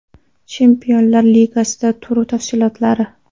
Chempionlar Ligasida tur tafsilotlari.